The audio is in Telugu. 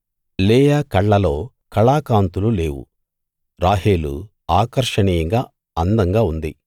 లేయా కళ్ళలో కళాకాంతులు లేవు రాహేలు ఆకర్షణీయంగా అందంగా ఉంది